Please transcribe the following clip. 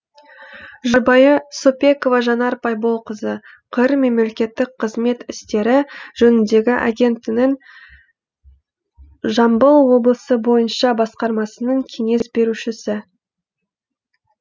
жұбайы соппекова жанар байболқызы қр мемлекеттік қызмет істері жөніндегі агенттінің жамбыл облысы бойынша басқармасының кеңес берушісі